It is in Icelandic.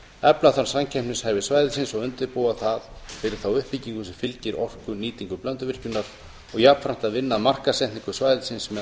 efla þarf samkeppnishæfni svæðisins og undirbúa það fyrir þá uppbyggingu sem fylgir orkunýtingu blönduvirkjunar og jafnframt vinna að markaðssetningu svæðisins